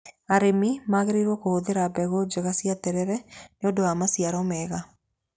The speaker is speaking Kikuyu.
Arĩmi magĩrĩirwo kũhũthĩra mbegũ njega cia terere nĩ ũndũ wa maciaro mega.